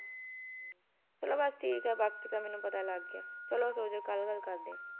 ਚਲੋ ਬਸ ਠੀਕ ਆ ਬਾਕੀ ਤਾਂ ਮੈਨੂੰ ਪਤਾ ਲੱਗ ਗਿਆ ਚਲੋ ਸੋਜੋ ਕੱਲ ਗੱਲ ਕਰਦੇ ਆ